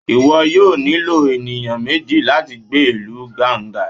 iwọ yọọ nílo enìyan mejí lati gbe ilu Ganga